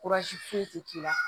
foyi ti k'i la